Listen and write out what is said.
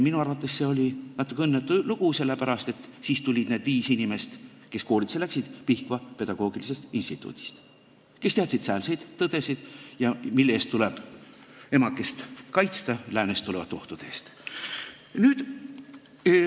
Minu arvates oli see natuke õnnetu lugu, sellepärast, et siis tulid need viis inimest, kes kooli läksid, Pihkva pedagoogilisest instituudist ja nad teadsid säälseid tõdesid, et emakest tuleb läänest tulenevate ohtude eest kaitsta.